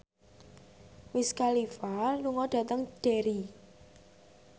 Wiz Khalifa lunga dhateng Derry